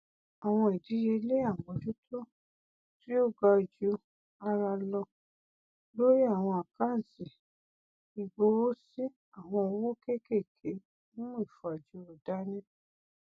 àwọn ìdíyelé àmójútó tí ó ga ju ara lọ lórí àwọn àkántì ìgbowósí àwọn òwò kékèké n mú ìfajúro dání